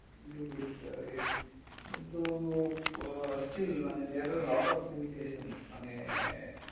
কিন্তু still there are lot of limitation মানে